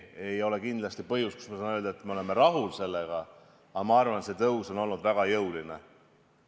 See ei ole kindlasti see koht, kus ma saan öelda, et me oleme rahul, aga ma arvan, et see tõus on olnud väga jõuline.